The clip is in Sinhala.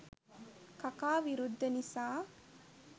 කකා විරුද්ධ නිසා